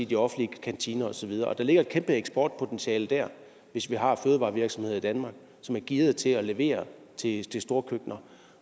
de offentlige kantiner og så videre der ligger et kæmpe eksportpotentiale der hvis vi har fødevarevirksomheder i danmark som er gearede til at levere til storkøkkener